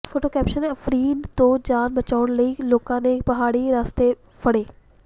photo caption Afreen ਤੋਂ ਜਾਨ ਬਚਾਉਣ ਲਈ ਲੋਕਾਂ ਨੇ ਪਹਾੜੀ ਰਸਤੇ ਫੜੇ